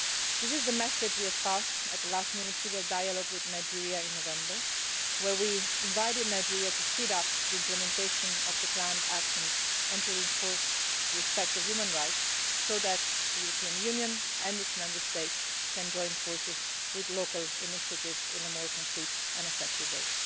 This is the message we conveyed at the last Ministerial Dialogue with Nigeria in November, when we invited Nigeria to speed up the implementation of the planned actions and to reinforce respect for human rights so that the European Union and its Member States can join forces with local initiatives in a more concrete and effective way.